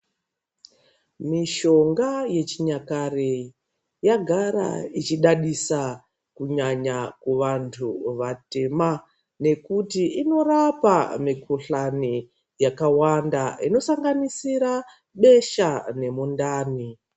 Mushonga yechinyakare yagara ichidadisa kunyanya kuvantu vatema nekuti inorapa mikhuhlani yakawanda inosanganisira besha nemundani.